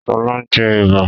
Sọlá ń jẹ Ẹ̀bà